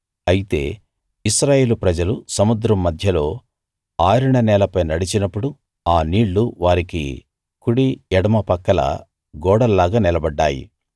అయితే ఇశ్రాయేలు ప్రజలు సముద్రం మధ్యలో ఆరిన నేలపై నడిచినప్పుడు ఆ నీళ్లు వారికి కుడి ఎడమ పక్కల గోడల్లాగా నిలబడ్డాయి